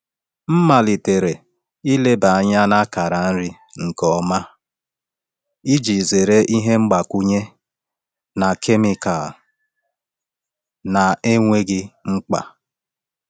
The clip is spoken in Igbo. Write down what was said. M malitere ileba anya na akara nri nke ọma iji zere ihe mgbakwunye na kemikal na-enweghị mkpa.